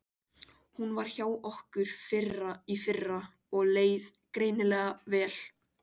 Hún var hjá okkur í fyrra og leið greinilega vel.